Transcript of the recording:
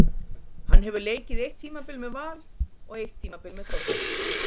Hann hefur leikið eitt tímabil með Val og eitt tímabil með Þrótti.